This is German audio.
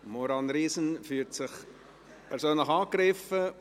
Maurane Riesen fühlt sich persönlich angegriffen.